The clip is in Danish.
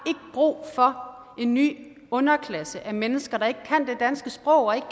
brug for en ny underklasse af mennesker der ikke kan det danske sprog og ikke